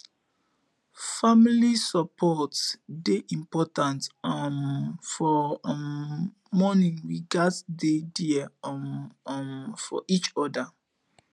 family support dey important um for um mourning we gats dey there um um for each oda